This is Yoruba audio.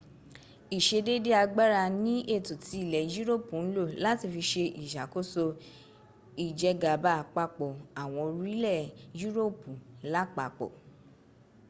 ìsedédé agbára ni ètò tí ilẹ̀ europu ń lò láti fi se ìsàkóso ìjẹgàba àpapọ̀ àwọn orílẹ̀ europu lápapọ